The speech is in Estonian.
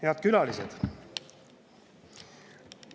Head külalised!